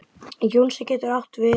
Jónsi getur átt við